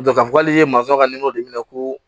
k'a fɔ k'ale ye masɔn ka minɛ ko